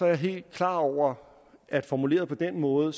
jeg helt klar over at formuleret på den måde